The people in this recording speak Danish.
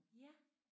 Ja